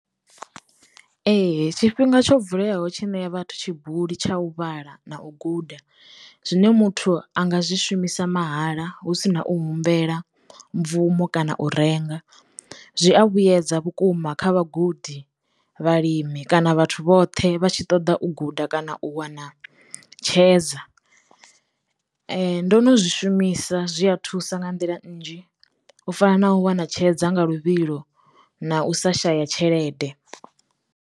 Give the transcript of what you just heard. Ee tshifhinga tsho vuleaho tshi ṋea vhathu tshibuli tsha u vhala na u guda zwine muthu anga zwi shumisa mahala hu si na u humbela bvumo kana u renga zwi a vhuedza vhukuma kha vhagudi, vhalimi kana vhathu vhoṱhe vha tshi ṱoḓa u guda kana u wana tshedza. Ndo no zwi shumisa zwi a thusa nga nḓila nnzhi u fana na u wana tshedza nga luvhilo na u sa shaya tshelede.